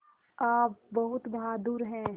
आप बहुत बहादुर हैं